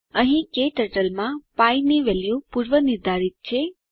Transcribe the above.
અહીં ક્ટર્ટલ માં પી ની વેલ્યુ પૂર્વનિર્ધારિત છે